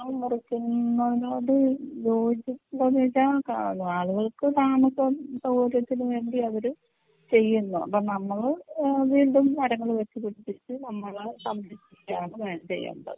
മരങ്ങൾ മുറിക്കുന്നതിനോട് യോജിക്കുമോന്ന് ചോദിച്ചാൽ ക ആളുകൾക്ക് താമസം സൗകര്യത്തിനു വേണ്ടി അവര് ചെയ്യുന്നു അപ്പൊ നമ്മള് ഏഹ് വീണ്ടും മരങ്ങൾ വെച്ചുപിടിപ്പിച്ച് നമ്മള് സംരക്ഷിക്കുകയാണ് വേ ചെയ്യേണ്ടത്.